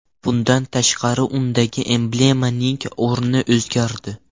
Bundan tashqari, undagi emblemaning o‘rni o‘zgardi.